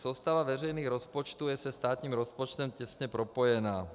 Soustava veřejných rozpočtů je se státním rozpočtem těsně propojena.